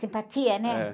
Simpatia, né?.